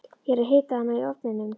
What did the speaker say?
Ég er að hita hana í ofninum.